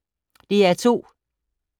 DR2